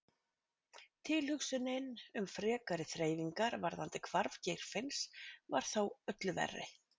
Tilhugsunin um frekari þreifingar varðandi hvarf Geirfinns var þó öllu verri.